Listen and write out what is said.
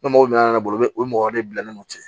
Ne mɔgɔ min nana ne bolo o ye mɔgɔ de bila ne n'o cɛ